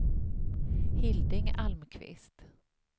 Hilding Almqvist